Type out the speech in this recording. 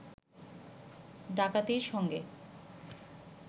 ডাকাতির সঙ্গে